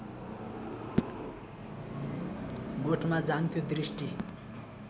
गोठमा जान्थ्यो दृष्टि